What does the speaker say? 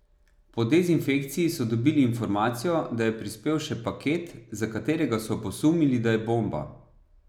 Po dezinfekciji so dobili informacijo, da je prispel še paket, za katerega so posumili, da je bomba.